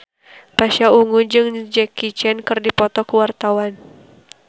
Pasha Ungu jeung Jackie Chan keur dipoto ku wartawan